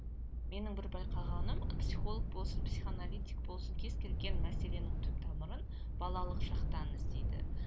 менің бір байқағаным психолог болсын психоаналитик болсын кез келген мәселенің түп тамырын балалық шақтан іздейді